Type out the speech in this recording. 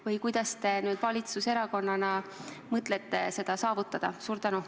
Või kuidas te nüüd valitsuserakonnana mõtlete seda saavutada?